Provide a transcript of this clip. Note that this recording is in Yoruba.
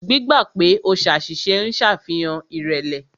Gbígbà pè o ṣàṣìṣe ń ṣàfihàn ìrẹ̀lẹ̀.